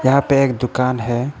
या पे एक दुकान है।